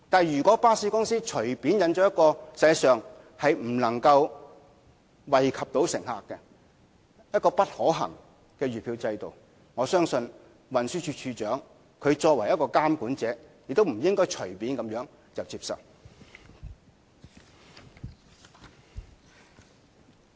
如果巴士公司隨便引進一項實際上不能惠及乘客或不可行的月票制度，我相信運輸署署長作為監管者亦不應該隨便接受。